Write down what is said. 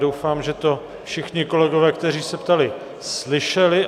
Doufám, že to všichni kolegové, kteří se ptali, slyšeli.